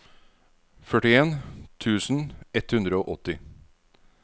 førtien tusen ett hundre og åtti